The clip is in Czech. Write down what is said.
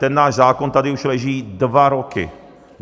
Ten náš zákon tady už leží dva roky.